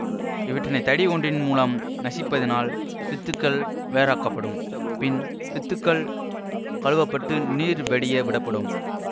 இவற்றினை தடி ஒன்றின் மூலம் நசிப்பதனால் வித்துக்கள் வேறாக்கப்படும் பின் வித்துக்கள் கழுவப்பட்டு நீர் வடிய விடப்படும்